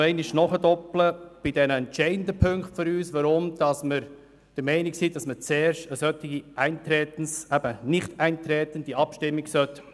Ich möchte jedoch bei den für uns entscheidenden Punkten nachdoppeln und erklären, weshalb wir der Meinung sind, dass zuerst eine Abstimmung über das Nichteintreten durchgeführt werden soll.